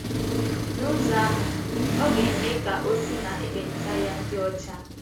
N’ụzọ ahụ, ọ ga - eme ka o si n’ekpenta ya dị ọcha. ”